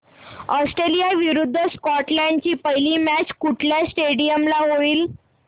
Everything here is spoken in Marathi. ऑस्ट्रेलिया विरुद्ध स्कॉटलंड ची पहिली मॅच कुठल्या स्टेडीयम ला होईल